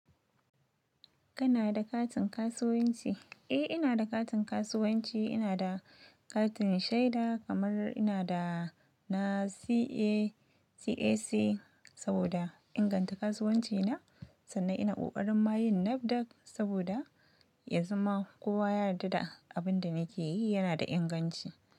Kana da katin kasuwanci? Eh ina da katin kasuwanci, ina da katin shaida kamar ina da na CAC saboda inganta kasuwanci na sannan ina ƙoƙarin ma yin Nafdac saboda yanzu ma kowa ya yarda da abin da nake yi yana da inganci.